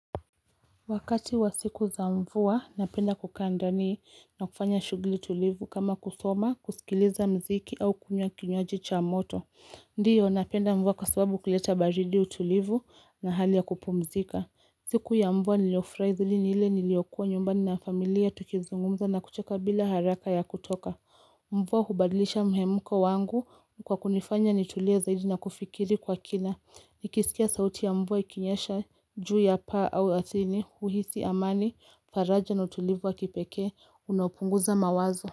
Wakati wa siku za mvua, napenda kukaa ndani na kufanya shughuli tulivu kama kusoma, kusikiliza mziki au kunywa kinywaji cha moto. Ndiyo, napenda mvua kwa subabu kuleta baridi utulivu na hali ya kupumzika. Siku ya mvua nilio furahi zaidi ni ile niliyokuwa nyumbani na familia tukizungumza na kucheka bila haraka ya kutoka. Mvua hubadlisha mhemuko wangu kwa kunifanya nitulie zaidi na kufikiri kwa kina. Nikisikia sauti ya mvua ikinyasha, juu ya pa au ardhini, huhisi amani, faraja na utulivu wa kipekee, unaopunguza mawazo.